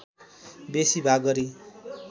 बेसी भाग गरी